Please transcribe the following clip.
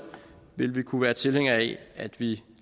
ville vi kunne være tilhængere af at vi